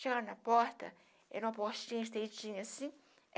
Chegando na porta, era uma portinha estreitinha assim.